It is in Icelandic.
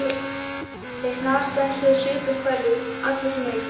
Þeir snarstönsuðu og supu hveljur, allir sem einn.